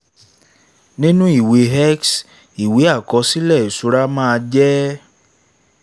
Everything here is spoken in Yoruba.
nínú ìwé x ìwé àkọsílẹ̀ ìṣura màa jẹ́: